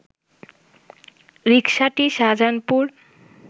রিকসাটি Shahjahanpur